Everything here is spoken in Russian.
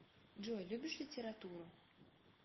джой любишь литературу